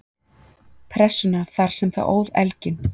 Pressunnar þar sem það óð elginn.